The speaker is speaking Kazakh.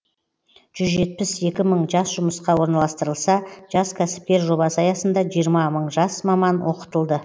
жүз жетпіс екі мың жас жұмысқа орналастырылса жас кәсіпкер жобасы аясында жиырма мың жас маман оқытылды